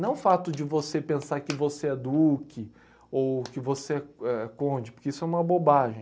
Não o fato de você pensar que você é duque ou que você é é conde, porque isso é uma bobagem.